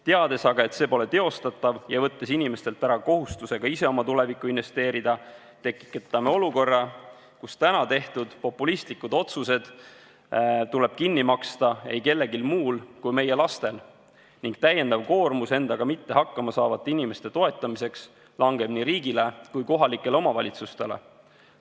Teades aga, et see pole teostatav, ja võttes inimestelt ära kohustuse ka ise oma tulevikku investeerida, tekitame olukorra, kus täna tehtud populistlikud otsused tuleb kinni maksta ei kellelgi muul kui meie lastel ning täiendav koormus endaga mitte hakkama saavate inimeste toetamiseks langeb nii riigile kui ka kohalikele omavalitsustele.